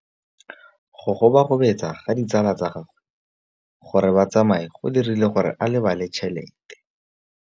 Go gobagobetsa ga ditsala tsa gagwe, gore ba tsamaye go dirile gore a lebale tšhelete.